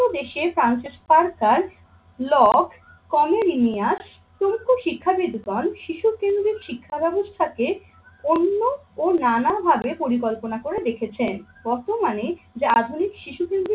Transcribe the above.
দেশের ফ্রান্সের সরকার লক প্রমুখ শিক্ষাবিদ গণ শিশু কেন্দ্রিক শিক্ষা ব্যবস্থাকে অন্য ও নানা ভাবে পরিকল্পনা করে দেখেছেন। বর্তমানে যে আধুনিক শিশু কেন্দ্রিক